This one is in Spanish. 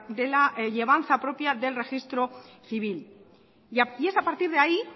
de la llevanza propia del registro civil y es a partir de ahí